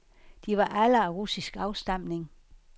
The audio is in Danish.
De var alle af russisk afstamning.